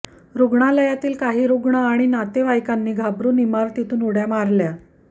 रुग्णालयातील काही रुग्ण आणि नातेवाईकांनी घाबरुन इमारतीतून उड्या मारल्या